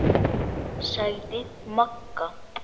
sagði Magga.